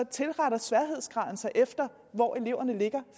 tilretter sværhedsgraden sig efter hvor eleverne ligger